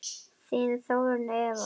Þín Þórunn Eva.